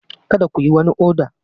Kada ku yi wani oda!